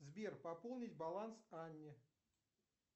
сбер пополнить баланс анне